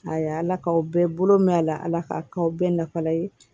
Ayi ala k'aw bɛɛ bolo mɛn a la ala k'a k'aw bɛɛ nafa la ye